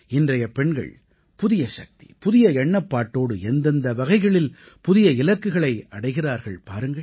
இன்றைய பெண்கள் புதிய சக்தி புதிய எண்ணப்பாட்டோடு எந்தெந்த வகைகளில் புதிய இலக்குகளை அடைகிறார்கள் பாருங்கள்